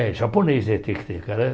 É, japonês é tem que ter cara.